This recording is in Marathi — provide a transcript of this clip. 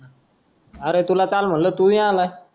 अरे तुला काल म्हंटल तू नाय आलास